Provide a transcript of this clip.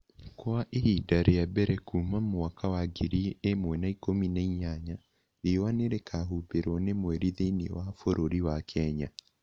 Kwa ihinda rĩa mbere kuuma mwaka wa ngiri ĩmwe na ikũmi na inyanya, riũa nĩ rĩkaahumbĩrũo nĩ mweri thĩinĩ wa bũrũri wa Kenya